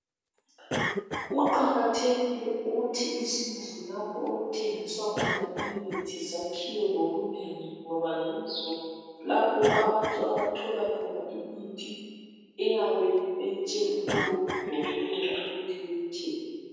Kuqakathekile ukuthi izindlu lapho okuthengiswa khona imithi zakhiwe ngobunengi ngoba yizo lapho abantu abathola khona imithi eyabe beyitshelwe ngabodokotela ukuthi beyithenge.